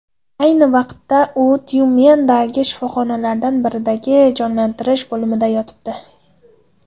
Ayni vaqtda u Tyumendagi shifoxonalardan biridagi Jonlantirish bo‘limida yotibdi.